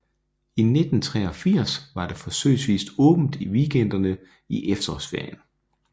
I 1983 var der forsøgsvist åbent i weekenderne i efterårsferien